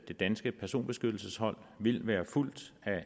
det danske personbeskyttelseshold vil være fulgt af